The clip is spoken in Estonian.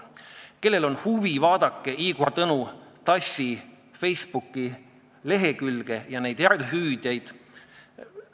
Kellel on huvi, vaadake Igor Tõnu Tassi Facebooki lehekülge ja järelehüüdeid.